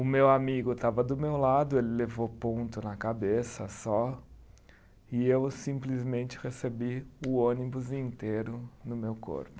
O meu amigo estava do meu lado, ele levou ponto na cabeça só e eu simplesmente recebi o ônibus inteiro no meu corpo.